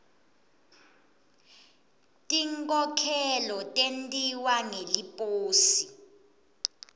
tinkhokhelo tentiwa ngeliposi